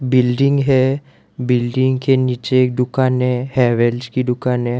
Building है building के नीचे एक दुकान है हैवेल्स की दुकान है।